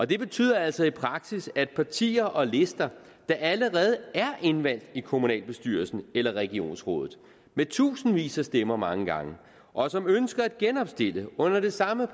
det betyder altså i praksis at partier og lister der allerede er indvalgt i kommunalbestyrelsen eller regionsrådet med tusindvis af stemmer mange gange og som ønsker at genopstille under det samme